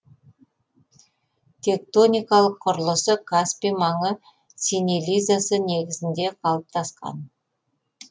тектоникалық құрылысы каспий маңы сенелизасы негізінде қалыптасқан